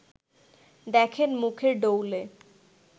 দেখেন মুখের ডৌলে